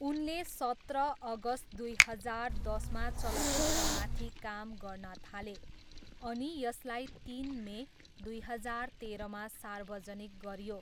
उनले सत्र अगस्त दुई हजार दसमा चलचित्रमाथि काम गर्न थाले, अनि यसलाई तिन मे, दुई हजार तेह्रमा सार्वजनिक गरियो।